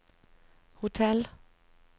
hotell